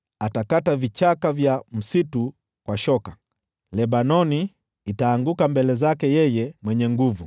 Atakata vichaka vya msitu kwa shoka; Lebanoni itaanguka mbele zake yeye Mwenye Nguvu.